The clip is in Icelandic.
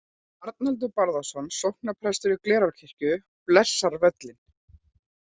Arnaldur Bárðarson sóknarprestur í Glerárkirkju blessar völlinn.